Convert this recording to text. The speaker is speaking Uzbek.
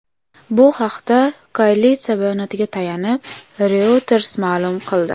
Bu haqda koalitsiya bayonotiga tayanib, Reuters ma’lum qildi.